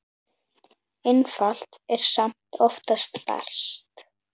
Einfalt er samt oftast best.